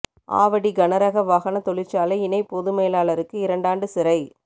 ஆவடி கனரக வாகன தொழிற்சாலை இணை பொது மேலாளருக்கு இரண்டாண்டு சிறை